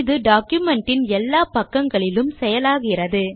இது டாக்குமென்ட் இன் எல்லா பக்கங்களிலும் செயலாகிறது